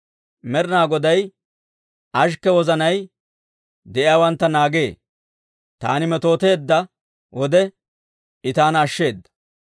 Med'inaa Goday ashikke wozanay de'iyaawantta naagee; taani metooteedda wode, I taana ashsheeda.